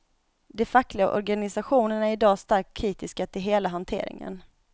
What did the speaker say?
De fackliga organisationerna är idag starkt kritiska till hela hanteringen.